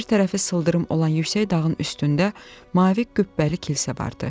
Bir tərəfi sıldırım olan yüksək dağın üstündə mavi qübbəli kilsə vardı.